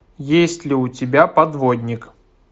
есть ли у тебя подводник